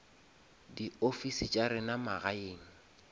di ofisi tša rena magaeng